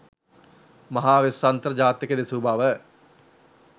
මහා වෙස්සන්තර ජාතකය දෙසූ බව